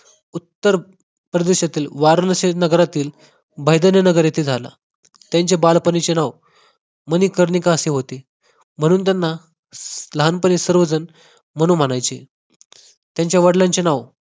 उत्तर प्रदेशातील वाराणसी नगरातील भायदने नगर येथे झाला त्यांचे बालपणीचे नाव मणिकर्णिका असे होते म्हणून त्यांना लहानपणी सर्वजण मनु म्हणायचे त्यांच्या वडिलांचे नाव